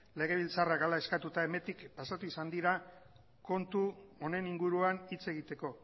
legebiltzarrak hala eskatuta hemendik pasatu izan dira kontu honen inguruan hitz egiteko